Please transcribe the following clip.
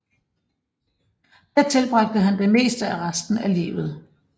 Her tilbragte han det meste af resten af livet